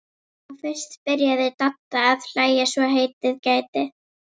Þá fyrst byrjaði Dadda að hlæja svo heitið gæti.